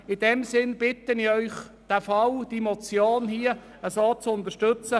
In diesem Sinn bitte ich sie, die Motion zu unterstützen.